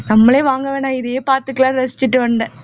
நம்மளே வாங்க வேணாம் இதையே பார்த்துக்கலாம் ரசிச்சுட்டு வந்தேன்